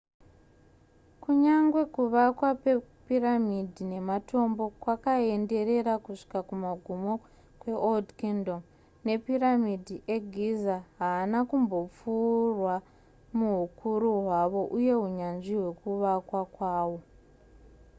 kunyangwe kuvakwa kwepiramidhi nematombo kwakaenderera kusvika kumagumo kweold kingdom mapiramidhi egiza haana kumbopfuurwa muhukuru hwawo uye hunyanzvi hwekuvakwa kwawo